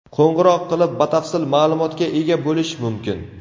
Qo‘ng‘iroq qilib, batafsil ma’lumotga ega bo‘lish mumkin.